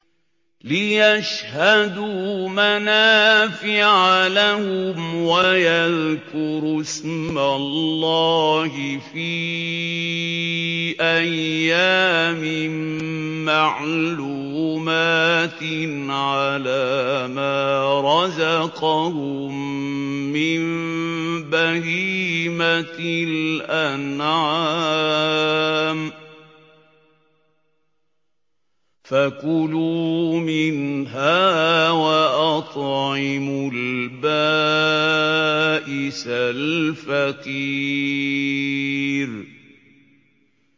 لِّيَشْهَدُوا مَنَافِعَ لَهُمْ وَيَذْكُرُوا اسْمَ اللَّهِ فِي أَيَّامٍ مَّعْلُومَاتٍ عَلَىٰ مَا رَزَقَهُم مِّن بَهِيمَةِ الْأَنْعَامِ ۖ فَكُلُوا مِنْهَا وَأَطْعِمُوا الْبَائِسَ الْفَقِيرَ